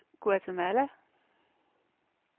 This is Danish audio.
Guatemala